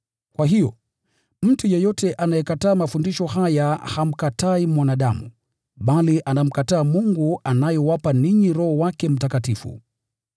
Kwa hiyo, mtu yeyote anayekataa mafundisho haya hamkatai mwanadamu, bali anamkataa Mungu anayewapa ninyi Roho wake Mtakatifu.